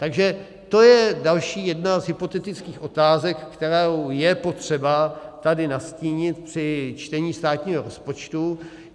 Takže to je další jedna z hypotetických otázek, kterou je potřeba tady nastínit při čtení státního rozpočtu.